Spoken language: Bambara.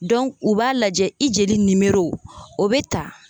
u b'a lajɛ i jeli o bɛ ta.